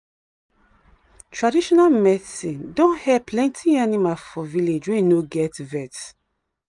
traditional medicine don help plenty animal for village wey no get vet.